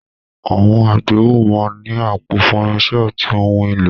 Àwọn àgbéwọ̀ máa ń ní àpò fún irinṣẹ́ àti ohun èlò.